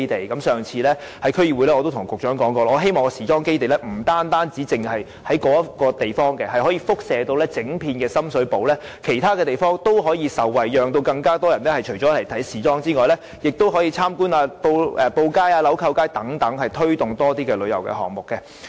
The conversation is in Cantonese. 在上次區議會會議時，我已經告訴局長，我希望時裝基地不僅局限於該地點，而可產生輻射效應，以至整個深水埗其他地點也可受惠，使遊人不僅前往時裝基地，亦會參觀布街、鈕扣街等，推動更多旅遊項目。